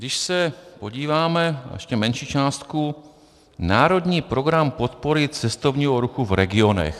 Když se podíváme na ještě menší částku - Národní program podpory cestovního ruchu v regionech.